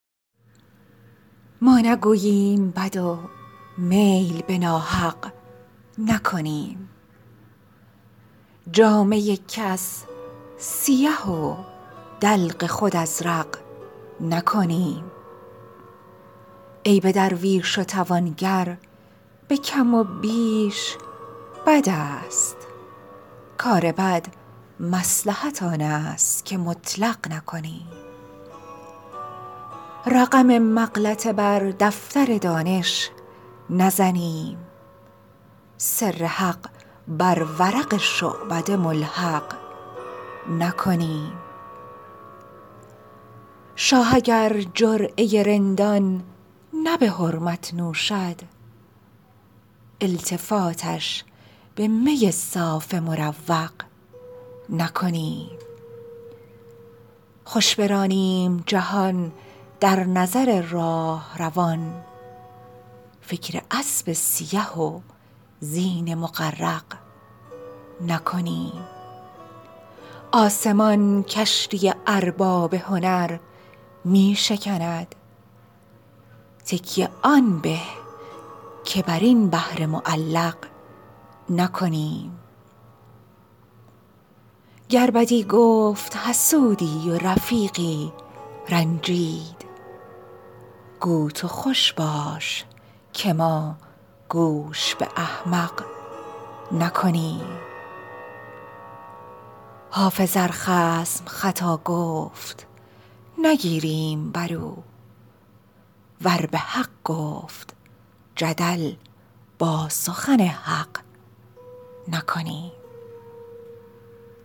ما نگوییم بد و میل به ناحق نکنیم جامه کس سیه و دلق خود ازرق نکنیم عیب درویش و توانگر به کم و بیش بد است کار بد مصلحت آن است که مطلق نکنیم رقم مغلطه بر دفتر دانش نزنیم سر حق بر ورق شعبده ملحق نکنیم شاه اگر جرعه رندان نه به حرمت نوشد التفاتش به می صاف مروق نکنیم خوش برانیم جهان در نظر راهروان فکر اسب سیه و زین مغرق نکنیم آسمان کشتی ارباب هنر می شکند تکیه آن به که بر این بحر معلق نکنیم گر بدی گفت حسودی و رفیقی رنجید گو تو خوش باش که ما گوش به احمق نکنیم حافظ ار خصم خطا گفت نگیریم بر او ور به حق گفت جدل با سخن حق نکنیم